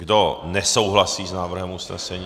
Kdo nesouhlasí s návrhem usnesení?